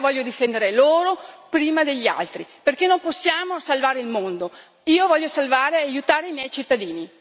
E allora io, qui all'interno del Parlamento europeo, voglio difendere loro prima degli altri, perché non possiamo salvare il mondo.